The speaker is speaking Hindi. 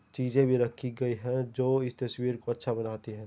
चीजें भी रखी गई हैं जो इस तस्वीर को अच्छा बनाती हैं।